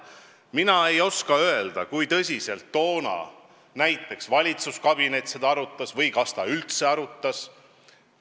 Mina ei oska öelda, kui tõsiselt toona näiteks valitsuskabinet seda arutas või kas ta üldse arutas.